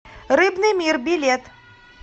рыбный мир билет